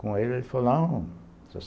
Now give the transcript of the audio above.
Com ele, ele falou, não, Sr.